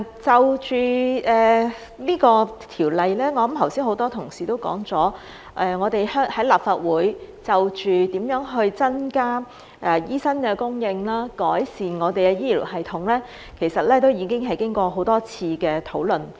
關於《條例草案》，剛才很多同事都說，我們在立法會就如何增加醫生的供應及改善我們的醫療系統，其實都經過多次討論。